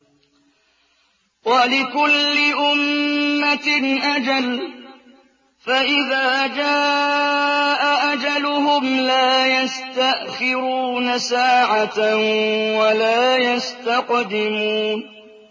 وَلِكُلِّ أُمَّةٍ أَجَلٌ ۖ فَإِذَا جَاءَ أَجَلُهُمْ لَا يَسْتَأْخِرُونَ سَاعَةً ۖ وَلَا يَسْتَقْدِمُونَ